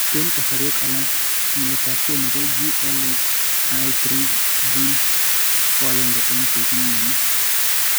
En kasarwek alak, nyiletabge nebo GLI3 gene koagenge en cheibu myonitok